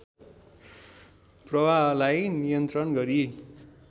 प्रवाहलाई नियन्त्रण गरी